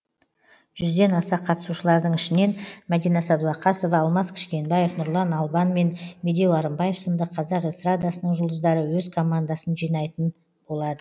жүзден аса қатысушылардың ішінен мәдина сәдуақасова алмас кішкенбаев нұрлан албан мен медеу арынбаев сынды қазақ эстарадасының жұлдыздары өз командасын жинайтын болады